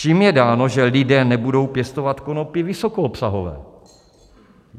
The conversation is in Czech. Čím je dáno, že lidé nebudou pěstovat konopí vysokoobsahové?